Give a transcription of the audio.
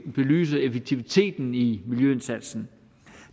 belyse effektiviteten i miljøindsatsen